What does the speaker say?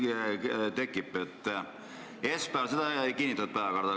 Esmaspäeval seda päevakorda ei kinnitatud.